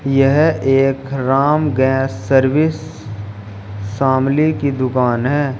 यह एक Ram gas service Shamli की दुकान है।